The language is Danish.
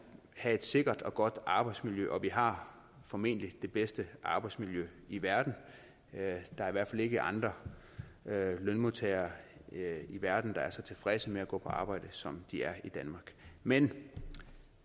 have et sikkert og godt arbejdsmiljø og vi har formentlig det bedste arbejdsmiljø i verden der er i hvert fald ikke andre lønmodtagere i verden der er så tilfredse med at gå på arbejde som de er i danmark men